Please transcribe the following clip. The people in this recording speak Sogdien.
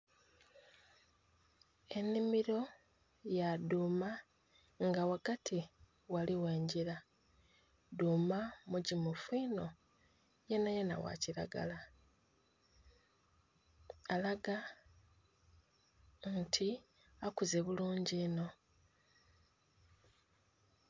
Enhimiro ya dhuuma nga ghagati ghaligho engila, dhuuma mugimufu inho yenha yenha gha kilagla alaga nti akuze bulungi inho.